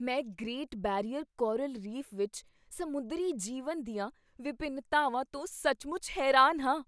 ਮੈਂ great barrier coral reef ਵਿੱਚ ਸਮੁੰਦਰੀ ਜੀਵਨ ਦੀਆਂ ਵਿਭਿੰਨਤਾਵਾਂ ਤੋਂ ਸੱਚਮੁੱਚ ਹੈਰਾਨ ਹਾਂ।